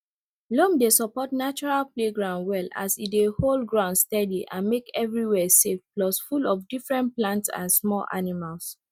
loam dey support natural playground well as e dey hold ground steady and make everywhere safe plus full of different plants and small animals